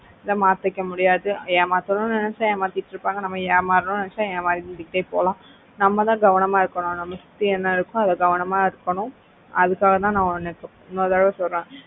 இத மாத்திக்க முடியாது ஏமாத்தணும்னு நினைச்சா ஏமாத்திட்டு இருப்பாங்க நம்ம ஏமாறோனோம்னு நினைச்சா ஏமாந்து கிட்டே போலாம் நம்ம தான் கவனமா இருக்கணும் நம்மள சுத்தி என்ன இருக்கோ நாமதான் கவனமா இருக்கணும் அதுக்காக தான் நான் உனக்கு இன்னொரு தடவை சொல்றேன்.